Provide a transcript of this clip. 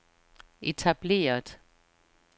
etableret